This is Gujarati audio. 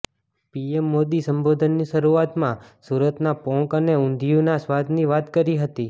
પીએમ મોદી સંબોધનની શરૂઆતમાં સુરતના પોંક અને ઊંઘિયુના સ્વાદની વાત કરી હતી